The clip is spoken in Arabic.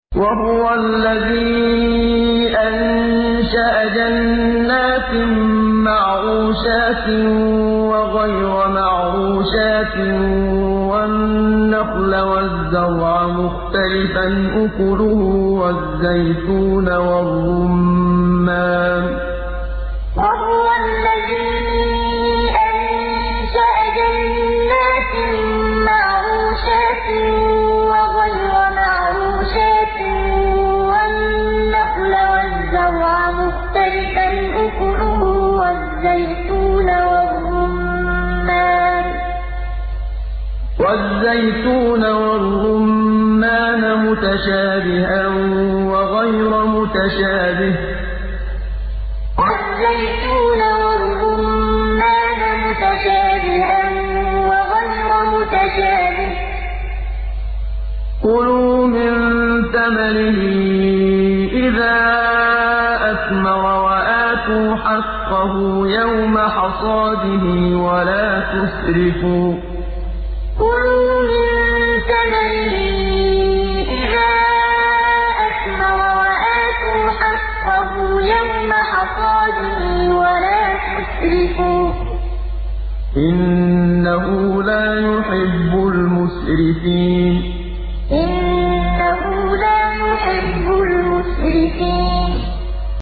۞ وَهُوَ الَّذِي أَنشَأَ جَنَّاتٍ مَّعْرُوشَاتٍ وَغَيْرَ مَعْرُوشَاتٍ وَالنَّخْلَ وَالزَّرْعَ مُخْتَلِفًا أُكُلُهُ وَالزَّيْتُونَ وَالرُّمَّانَ مُتَشَابِهًا وَغَيْرَ مُتَشَابِهٍ ۚ كُلُوا مِن ثَمَرِهِ إِذَا أَثْمَرَ وَآتُوا حَقَّهُ يَوْمَ حَصَادِهِ ۖ وَلَا تُسْرِفُوا ۚ إِنَّهُ لَا يُحِبُّ الْمُسْرِفِينَ ۞ وَهُوَ الَّذِي أَنشَأَ جَنَّاتٍ مَّعْرُوشَاتٍ وَغَيْرَ مَعْرُوشَاتٍ وَالنَّخْلَ وَالزَّرْعَ مُخْتَلِفًا أُكُلُهُ وَالزَّيْتُونَ وَالرُّمَّانَ مُتَشَابِهًا وَغَيْرَ مُتَشَابِهٍ ۚ كُلُوا مِن ثَمَرِهِ إِذَا أَثْمَرَ وَآتُوا حَقَّهُ يَوْمَ حَصَادِهِ ۖ وَلَا تُسْرِفُوا ۚ إِنَّهُ لَا يُحِبُّ الْمُسْرِفِينَ